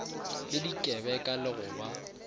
le dikebeka le go ba